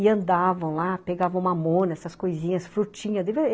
E andavam lá, pegavam mamona, essas coisinhas, frutinha.